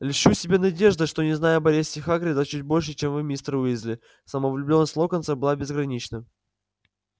льщу себя надеждой что знаю об аресте хагрида чуть больше чем вы мистер уизли самовлюблённость локонса была безгранична